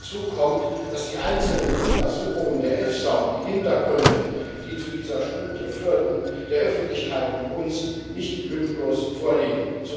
Dazu kommt, dass die einzelnen Untersuchungen der EFSA und die Hintergründe, die zu dieser Studie führten, der Öffentlichkeit und uns nicht lückenlos vorliegen.